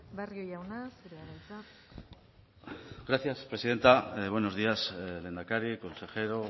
barrio jauna zurea da hitza gracias presidenta buenos días lehendakari consejero